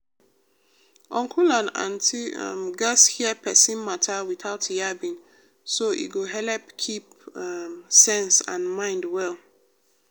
uncle and auntie um gatz hear persin matter without yabbing so e go helep keep um sense and mind well.